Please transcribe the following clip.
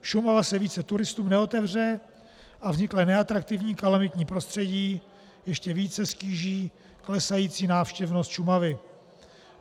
Šumava se více turistům neotevře a vzniklé neatraktivní kalamitní prostředí ještě více ztíží klesající návštěvnost Šumavy.